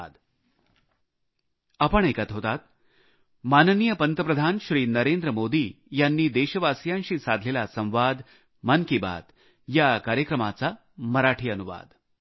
धन्यवाद